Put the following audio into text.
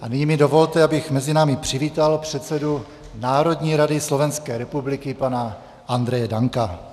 A nyní mi dovolte, abych mezi námi přivítal předsedu Národní rady Slovenské republiky, pana Andreje Danka.